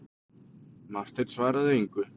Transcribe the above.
Marteinn svaraði engu.